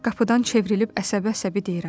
Qapıdan çevrilib əsəbə-əsəbi deyirəm.